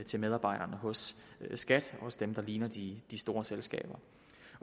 til medarbejderne hos skat og hos dem der ligner de de store selskaber